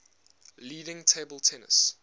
leading table tennis